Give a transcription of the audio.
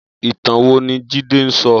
Itàn wó ni Jide n sò?